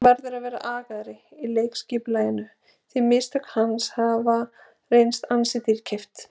Hann verður að vera agaðri í leikskipulaginu því mistök hans hafa reynst ansi dýrkeypt.